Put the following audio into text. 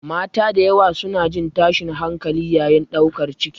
Mata da yawa suna jin tashin hankali yayin ɗaukar ciki.